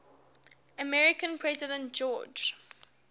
american president george